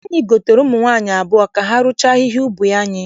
Anyị gotere ụmụ nwaanyị abụọ ka ha rụchaa ahịhịa n'ubi anyị.